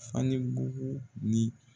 Fa ni bugu ni